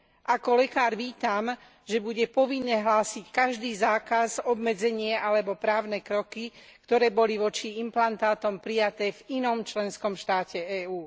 Ako lekár vítam, že bude povinné hlásiť každý zákaz, obmedzenie alebo právne kroky, ktoré boli voči implantátom prijaté v inom členskom štáte EÚ.